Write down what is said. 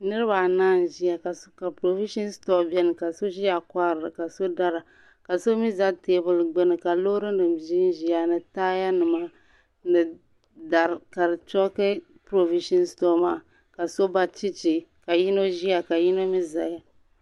Niriba anahi n ƶaya ka provitiion store bɛni ka so ƶaya kohirili ka so ƶaya dara ka so mi ƶa tɛbil gbuni ka lorry nim ƶɛnƶiya ni taya nima ni dari ka dɛ chʋki provition store maa ka so ba chɛchɛ ka yino ƶiya ka yino mi ƶaya .